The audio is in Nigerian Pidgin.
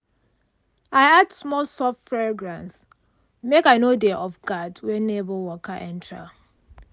i add small soft fragrance make i no dey off-guard when neighbour waka enter.